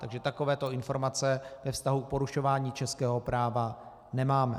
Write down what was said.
Takže takovéto informace ve vztahu k porušování českého práva nemáme.